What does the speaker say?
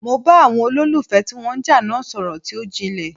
Mo bá àwọn olólùfẹ́ ti wọ́n ń jà náà sọ̀rọl tí ó jinlè.